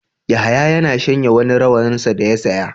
Yahaya ya shanya wani rawaninsa da ya saya.